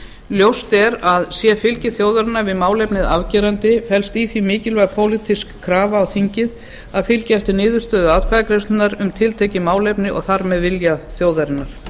ljóst er að sé fylgi þjóðarinnar við málefnið afgerandi felst í því mikilvæg pólitísk krafa á þingið um að fylgja eftir niðurstöðu atkvæðagreiðslunnar um tiltekið málefni og þar með vilja þjóðarinnar